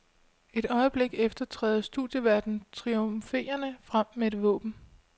Et øjeblik efter træder studieværten triumferende frem med et våben.